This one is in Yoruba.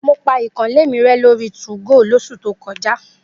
Mo pa ìkànnlé mi rẹ lórí 2go lósù tó lọ.